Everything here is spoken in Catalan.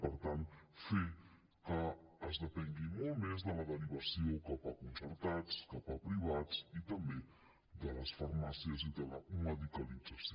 per tant fer que es depengui molt més de la derivació cap a concertats cap a privats i també de les farmàcies i de la medicalització